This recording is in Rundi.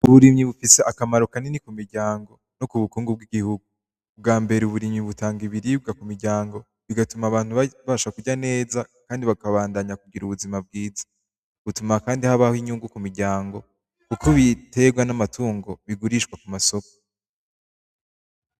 Uburimyi bufise akamaro kanini ku miryango no ku bukungu bw’igihugu. Ubwa mbere uburimyi butanga ibiribwa ku miryango, bigatuma abantu babasha kurya neza kandi bakabandanya kugira ubuzima bwiza. Bituma kandi habaho inyungu ku miryango, kuko ibitegwa n’amatungo bigurishwa ku masoko.